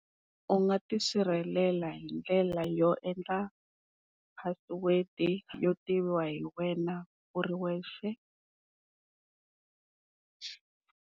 U nga tisirhelela hindlela yo endla password yo tiviwa hi wena u ri wexe.